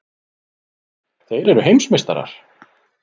Þeir eru heimsmeistarar!!!